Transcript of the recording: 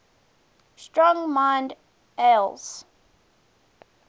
strong mild ales